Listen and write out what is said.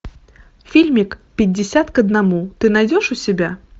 фильмик пятьдесят к одному ты найдешь у себя